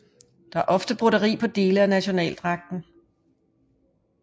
Der er ofte broderi på dele af nationaldragter